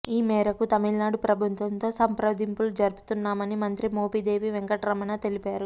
ఈ మేరకు తమిళనాడు ప్రభుత్వంతో సంప్రదింపులు జరుపుతున్నామని మంత్రి మోపిదేవి వెంకట రమణ తెలిపారు